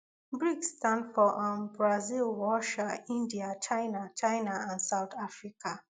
brics stand for um brazil russia india china china and south africa